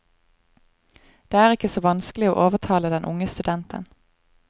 Det er ikke så vanskelig å overtale den unge studenten.